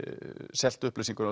selt upplýsingar